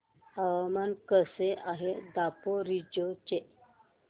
हवामान कसे आहे दापोरिजो चे